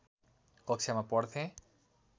कक्षामा पढ्थेँ